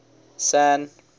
san